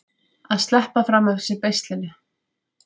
Að sleppa fram af sér beislinu